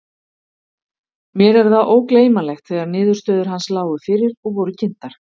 Mér er það ógleymanlegt þegar niðurstöður hans lágu fyrir og voru kynntar.